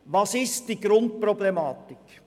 Was ist die Grundproblematik?